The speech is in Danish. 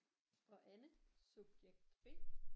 Og Anne subjekt B